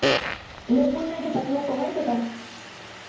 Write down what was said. लय पुण्य घेतात लोक माहितीये का